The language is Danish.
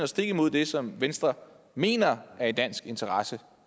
stik imod det som venstre mener er i dansk interesse